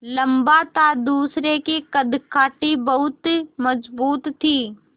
लम्बा था दूसरे की कदकाठी बहुत मज़बूत थी